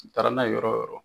I taara n'a ye yɔrɔ yɔrɔ.